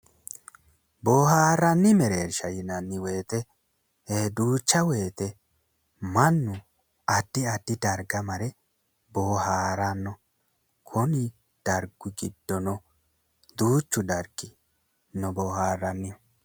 Booharranni mereersha yinanni woyte duucha woyte mannu addi addi darga mare bohaaranno konni dargi giddo duuchu dargi no booharrannihu